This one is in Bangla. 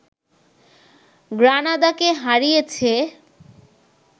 গ্রানাদাকে হারিয়েছে